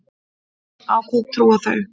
Á hvað trúa þau?